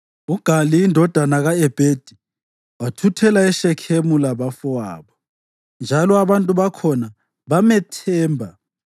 UGali indodana ka-Ebhedi wathuthela eShekhemu labafowabo, njalo abantu bakhona bamethemba.